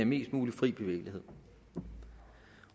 mest mulig fri bevægelighed